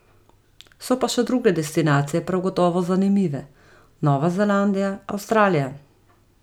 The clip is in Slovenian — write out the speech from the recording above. So pa še druge destinacije prav gotovo zanimive, Nova Zelandija, Avstralija.